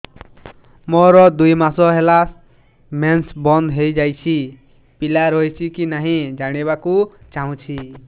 ମୋର ଦୁଇ ମାସ ହେଲା ମେନ୍ସ ବନ୍ଦ ହେଇ ଯାଇଛି ପିଲା ରହିଛି କି ନାହିଁ ଜାଣିବା କୁ ଚାହୁଁଛି